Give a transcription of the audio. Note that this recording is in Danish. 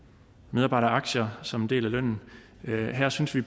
medarbejdere aktier som en del af lønnen her synes vi